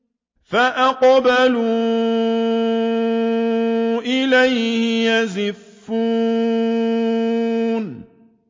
فَأَقْبَلُوا إِلَيْهِ يَزِفُّونَ